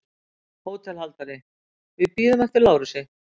HÓTELHALDARI: Við bíðum eftir Lárusi.